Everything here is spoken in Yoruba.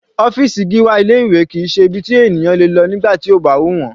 Ọ́fìsì Gíwá ilé ìwé kìí ṣe ibi tí ènìyàn le lọ nígbà tí ó bá wù wọ́n.